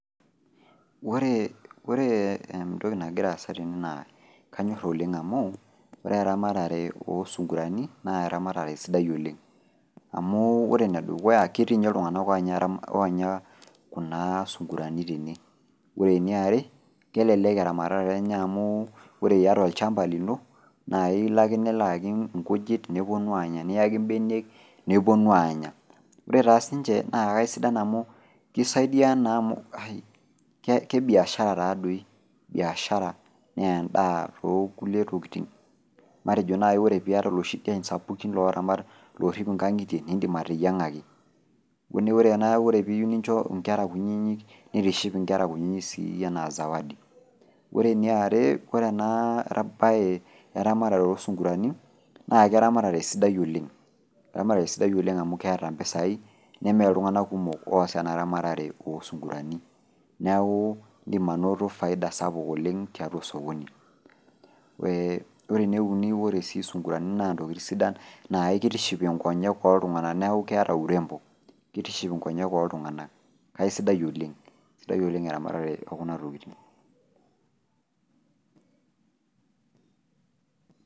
Oree, ore entoki nagiraasa tene naa kanyorr oleng' amuu ore eramatare oosung'urani naa ramatare sidai oleng'. Amuu ore enedukuya ketii ninye iltung'anak oonya kuna sung'urani tene. Ore niare kelelek eramatare enye amuu ore iata olchamba lino naa iloake niloakii nkujit nepuonu anya niaki mbenek nepuonu aanya. Ore taa siinche naa aisidan amu keisaidia naa amu kebiashara taadoi, biashara nendaa tookulie tokitin. Matejo nai ore piata loshi diein sapuki loramata loorrip ing'ang'itie nindim ateyieng'aki. Neaku ore piiyu nincho nkera kunyinyi neitiship inkera kunyinyi sii anaa zawadi. Ore eniare kore naa eramatare oosung'urani naake eramatare sidai oleng', ramatare sidai oleng' amu keeta mpisai nemeeta iltung'ana kumok oas ena ramatare oosung'urani. Neaku indim anoto  faida sapuk oleng' tiatua osokoni. Eeh ore neuni ore sii sung'urani naa ntokitin sidan naakeitiship inkonyek oltung'ana neaku keata urembo keitiship inkonyek oltung'ana kaisidai oleng', sidai oleng' eramatare o kuna tokitin.